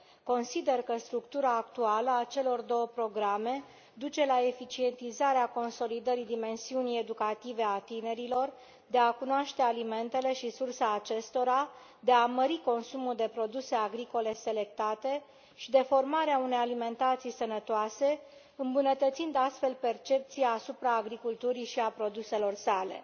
Consider că structura actuală a celor două programe duce la eficientizarea consolidării dimensiunii educative a tinerilor de a cunoaște alimentele și sursa acestora, de a mări consumul de produse agricole selectate și de formare a unei alimentații sănătoase, îmbunătățind astfel percepția asupra agriculturii și a produselor sale.